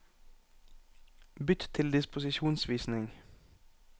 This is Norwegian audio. Bytt til disposisjonsvisning